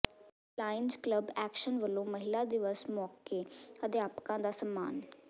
Lions Club Action ਵੱਲੋਂ ਮਹਿਲਾ ਦਿਵਸ ਮੌਕੇ ਅਧਿਆਪਕਾਂ ਦਾ ਸਨਮਾਨ